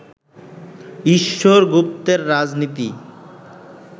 ঈশ্বর গুপ্তের রাজনীতি